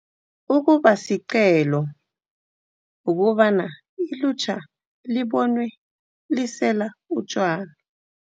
Ukuba siqhelo ukobana ilutjha libonwe lisela utjwala